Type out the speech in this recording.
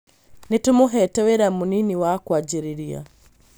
Nĩtũmũhete wĩra mũnini wa kwanjĩrĩria